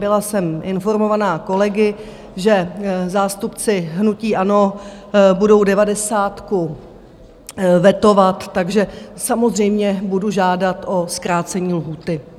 Byla jsem informována kolegy, že zástupci hnutí ANO budou devadesátku vetovat, takže samozřejmě budu žádat o zkrácení lhůty.